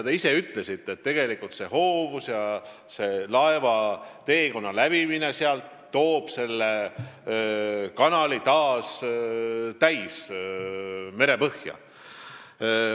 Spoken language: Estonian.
Te ise ütlesite, et sealne hoovus ja laevaliiklus toovad selle kanali taas täis meresetteid.